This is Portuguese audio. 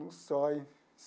No sonho.